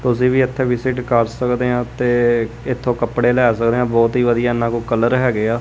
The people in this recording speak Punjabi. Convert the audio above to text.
ਤੁਸੀਂ ਵੀ ਇੱਥੇ ਵਿਜਿਟ ਕਰ ਸਕਦੇ ਆ ਤੇ ਇਥੋਂ ਕੱਪੜੇ ਲੈ ਸਕਦੇ ਆ ਬਹੁਤ ਹੀ ਵਧੀਆ ਇਨਾ ਕੋਲ ਕਲਰ ਹੈਗੇ ਆ।